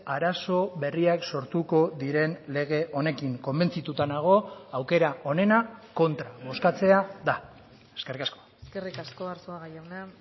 arazo berriak sortuko diren lege honekin konbentzituta nago aukera onena kontra bozkatzea da eskerrik asko eskerrik asko arzuaga jauna